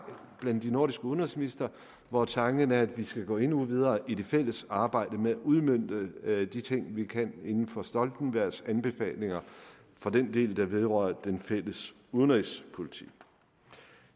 blandt de nordiske udenrigsministre hvor tanken er at vi skal gå endnu videre i det fælles arbejde med at udmønte de ting vi kan inden for stoltenbergs anbefalinger for den del der vedrører den fælles udenrigspolitik